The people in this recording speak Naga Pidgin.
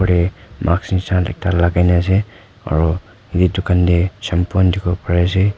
ehh mask neshinakta lagaina ase aro eto tukan teh shampoo kan tekiboli pare ase.